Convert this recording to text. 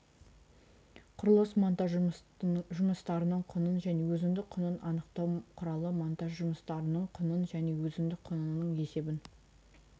құрылыс монтаж жұмыстарының құнын және өзіндік құнын анықтау құрылыс монтаж жұмыстарының құнын және өзіндік құнының есебін